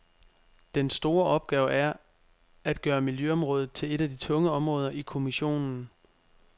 Den store opgave er at gøre miljøområdet til et af de tunge områder i kommissionen.